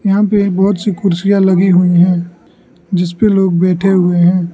यहां पे बहोत सी कुर्सियां लगी हुई है जिस पे लोग बैठे हुए हैं।